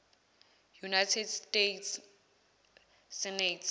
united states senate